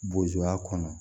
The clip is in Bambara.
Boya kɔnɔ